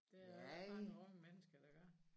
Det er der ikke mange unge mennesker der gør